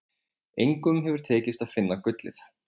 Engum hefur tekist að finna gullið.